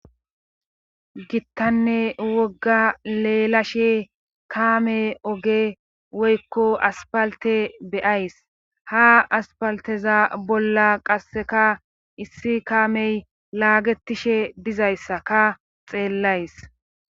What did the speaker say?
gittanne wogga leelashe kaame oge woykko aspalte beyays ha aspalteza bolla qasseka issi kaamey laagetishe dizayssa ka xeellays